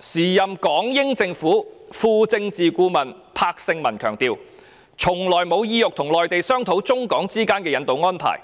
時任港英政府副政治顧問柏聖文強調，從來沒有意欲和內地商討中港之間的引渡安排，